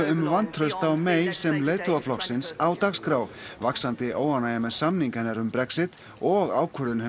um vantraust á May sem leiðtoga flokksins á dagskrá vaxandi óánægja með samning hennar um Brexit og ákvörðunin